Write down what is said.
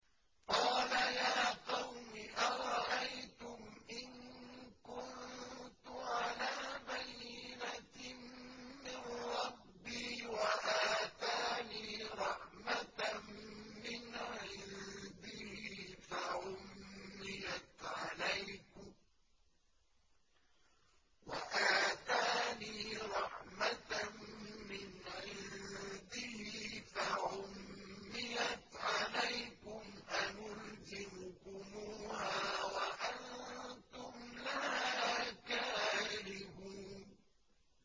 قَالَ يَا قَوْمِ أَرَأَيْتُمْ إِن كُنتُ عَلَىٰ بَيِّنَةٍ مِّن رَّبِّي وَآتَانِي رَحْمَةً مِّنْ عِندِهِ فَعُمِّيَتْ عَلَيْكُمْ أَنُلْزِمُكُمُوهَا وَأَنتُمْ لَهَا كَارِهُونَ